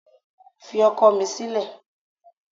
Fi ọkọ̀ mi sílẹ̀